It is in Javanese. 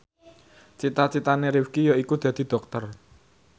cita citane Rifqi yaiku dadi dokter